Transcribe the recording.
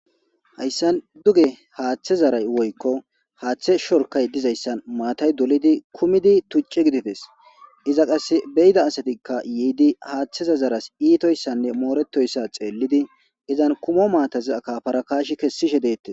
Hayssan duge haaththe zaray woykko haaththe shorkay dizayssan maatay dulidi kumidi tucce gidifes iza qasse beyida asatikka yiidi haaththeza zaras iitoyssanne mooretoyssa xeellidi izan kumo maatazi akafarakaashi kessishe deettes.